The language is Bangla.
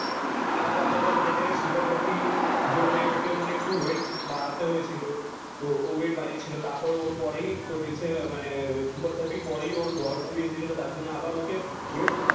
আলাদা আলাদা মানে জেরোম সুপার থার্টি জন্যে ওকে মানে একটু ওয়েট বাড়াতে হয়েছিল তো ও ওয়েট বাড়িয়েছিল তার পর ওরে পরেই মানে সুপার থার্টি পরেই ওয়ার মুভি এসেছিলো তার জন্য আবার ওকে ওয়েট